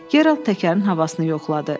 Gerald təkərin havasını yoxladı.